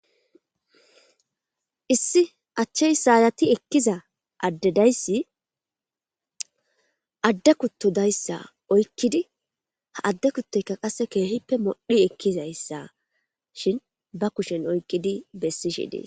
Issi achchey saayati ekkiza addedayssi adde kuttodayssa oykkidi ha adde kuttoyka qasse keehippe modhi ekkizayssa shin ba kushen oykkidi bessishi dees